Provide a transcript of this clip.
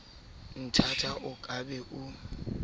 nthata o ka be o